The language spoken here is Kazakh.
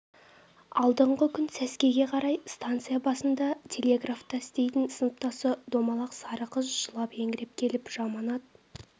алдыңғы күн сәскеге қарай станция басында телеграфта істейтін сыныптасы домалақ сары қыз жылап-еңіреп келіп жаманат